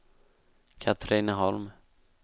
Katrineholm